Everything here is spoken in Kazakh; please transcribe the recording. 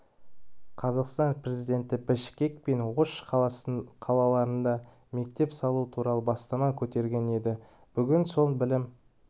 қазақстан президенті бішкек пен ош қалаларында мектеп салу туралы бастама көтерген еді бүгін сол білім